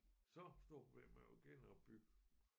Så store problemer med at genopbygge